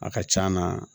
A ka c'a na